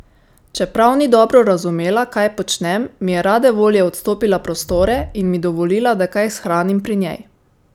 Čeprav ni dobro razumela, kaj počnem, mi je rade volje odstopila prostore in mi dovolila, da kaj shranim pri njej.